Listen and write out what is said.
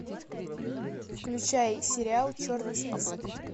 включай сериал черный список